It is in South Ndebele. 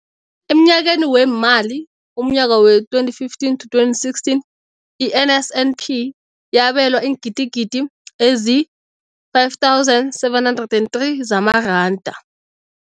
Emnyakeni weemali we-2015 to 2016, i-NSNP yabelwa iingidigidi ezi-5 703 zamaranda.